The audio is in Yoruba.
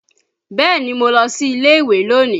Bẹ́ẹ̀ni, mo lọ sí ilé ìwé lónìí